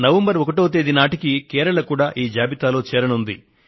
November 1వ తేదీ నాటికి కేరళ కూడా ఈ జాబితాలో చేరనుంది